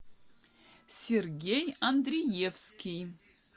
сергей андриевский